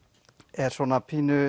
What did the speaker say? er svona pínu